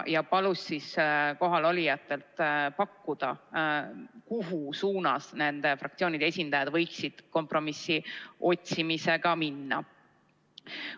Ta palus kohalolijatel pakkuda, kuhu suunas fraktsioonide esindajad võiksid kompromissi otsimisega minna.